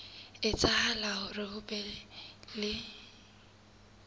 etsahala hore ho be le